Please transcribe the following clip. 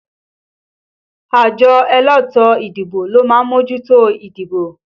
Àjọ elétò ìdìbò ló má mójútó ìdìbò